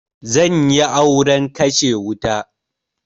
Zanyi auren kashe wuta